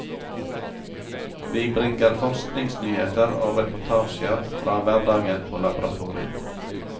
Vi bringer forskningsnyheter og reportasjer fra hverdagen på laboratoriet.